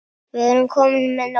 Við erum komin með nóg.